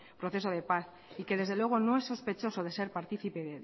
proceso de paz y que desde luego no es sospechoso de ser participe